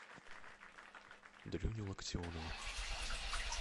дрюню локтионова